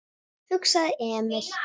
hugsaði Emil.